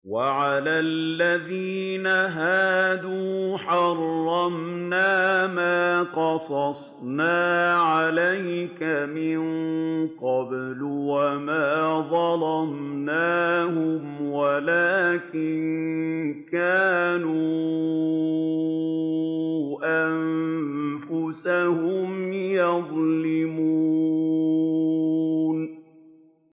وَعَلَى الَّذِينَ هَادُوا حَرَّمْنَا مَا قَصَصْنَا عَلَيْكَ مِن قَبْلُ ۖ وَمَا ظَلَمْنَاهُمْ وَلَٰكِن كَانُوا أَنفُسَهُمْ يَظْلِمُونَ